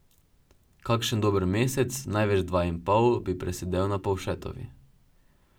Kakšen dober mesec, največ dva in pol, bi presedel na Povšetovi.